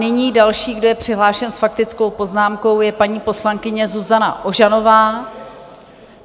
Nyní další, kdo je přihlášen s faktickou poznámkou, je paní poslankyně Zuzana Ožanová.